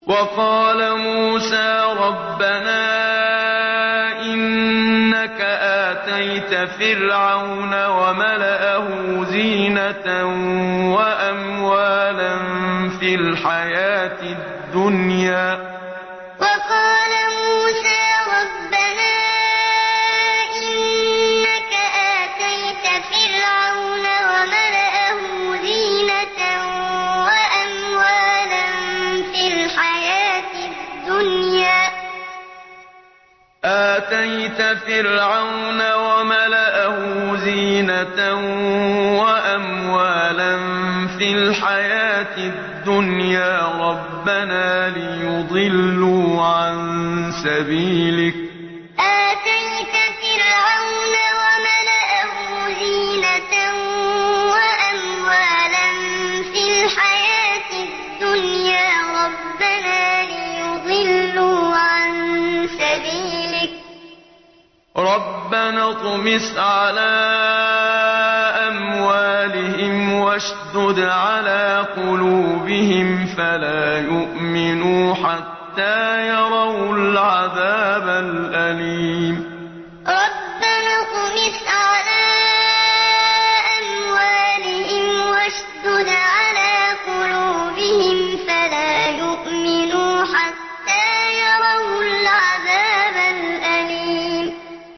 وَقَالَ مُوسَىٰ رَبَّنَا إِنَّكَ آتَيْتَ فِرْعَوْنَ وَمَلَأَهُ زِينَةً وَأَمْوَالًا فِي الْحَيَاةِ الدُّنْيَا رَبَّنَا لِيُضِلُّوا عَن سَبِيلِكَ ۖ رَبَّنَا اطْمِسْ عَلَىٰ أَمْوَالِهِمْ وَاشْدُدْ عَلَىٰ قُلُوبِهِمْ فَلَا يُؤْمِنُوا حَتَّىٰ يَرَوُا الْعَذَابَ الْأَلِيمَ وَقَالَ مُوسَىٰ رَبَّنَا إِنَّكَ آتَيْتَ فِرْعَوْنَ وَمَلَأَهُ زِينَةً وَأَمْوَالًا فِي الْحَيَاةِ الدُّنْيَا رَبَّنَا لِيُضِلُّوا عَن سَبِيلِكَ ۖ رَبَّنَا اطْمِسْ عَلَىٰ أَمْوَالِهِمْ وَاشْدُدْ عَلَىٰ قُلُوبِهِمْ فَلَا يُؤْمِنُوا حَتَّىٰ يَرَوُا الْعَذَابَ الْأَلِيمَ